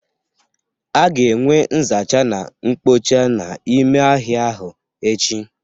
A ga-enwe nzacha na nkpocha n'ime ahịa ahụ echi.